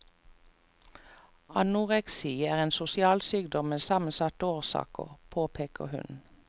Anoreksi er en sosial sykdom med sammensatte årsaker, påpeker hun.